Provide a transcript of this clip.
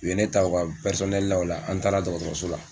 U ye ne ta u ka la o la an taara dɔgɔtɔrɔso la.